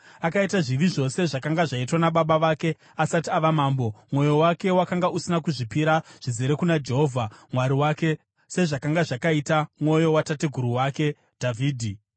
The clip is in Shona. Akaita zvivi zvose zvakanga zvaitwa nababa vake asati ava mambo; mwoyo wake wakanga usina kuzvipira zvizere kuna Jehovha Mwari wake sezvakanga zvakaita mwoyo watateguru wake Dhavhidhi.